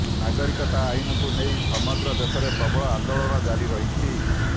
ନାଗରିକତା ଆଇନକୁ ନେଇ ସମଗ୍ର ଦେଶରେ ପ୍ରବଳ ଆନ୍ଦୋଳନ ଜାରି ରହିଛି